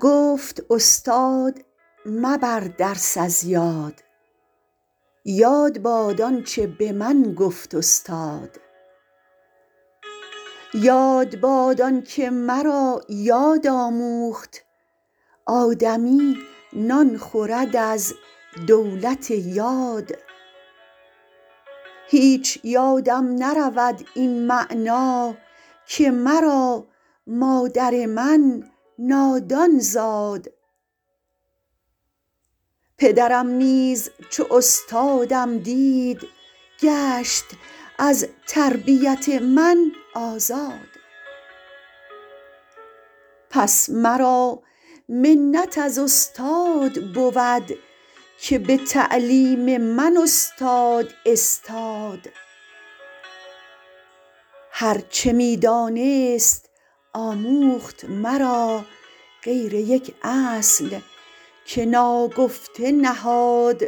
گفت استاد مبر درس از یاد یاد باد آنچه به من گفت استاد یاد باد آن که مرا یاد آموخت آدمی نان خورد از دولت یاد هیچ یادم نرود این معنی که مرا مادر من نادان زاد پدرم نیز چو استادم دید گشت از تربیت من آزاد پس مرا منت از استاد بود که به تعلیم من استاد استاد هر چه می دانست آموخت مرا غیر یک اصل که ناگفته نهاد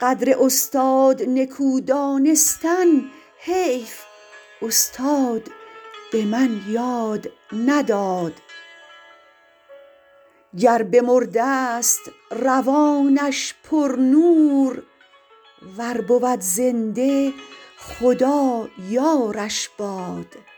قدر استاد نکو دانستن حیف استاد به من یاد نداد گر بمردست روانش پر نور ور بود زنده خدا یارش باد